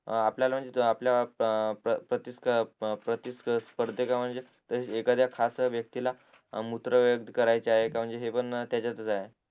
आपल्याला म्हणजे आपल्याला प्र प्र प्र प्रतिस्पर्धेकां म्हणजे एखाद्या खास व्यक्तीला त्याच्यातच आहे